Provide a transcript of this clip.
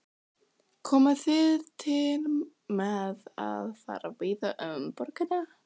Jóhannes: Komið þið til með að fara víða um borgina?